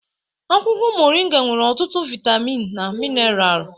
Akwụkwọ mọrị́nga nwere ọtụtụ vaịtamin na mineralụ.